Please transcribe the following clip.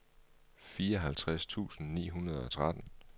fireoghalvtreds tusind ni hundrede og tretten